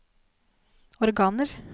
organer